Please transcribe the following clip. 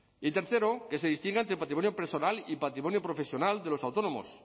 y tercero que se distinga entre patrimonio personal y patrimonio profesional de los autónomos